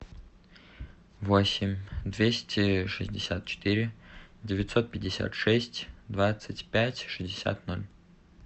восемь двести шестьдесят четыре девятьсот пятьдесят шесть двадцать пять шестьдесят ноль